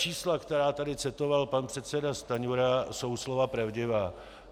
Čísla, která tady citoval pan předseda Stanjura, jsou slova pravdivá.